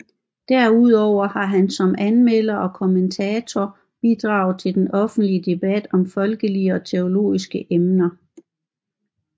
Derudover har han som anmelder og kommentator bidraget til den offentlige debat om folkelige og teologiske emner